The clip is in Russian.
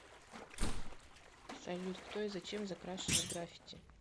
салют кто и зачем закрашивает граффити